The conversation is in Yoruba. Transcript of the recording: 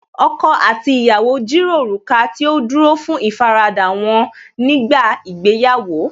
Ọkọ àti ìyàwó jìrọ̀ òrùka tí ó dúró fún ìfaradà wọ́n nígbà ìgbéyàwó